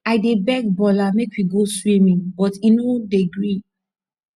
i dey beg bola make we go swimming but he no dey gree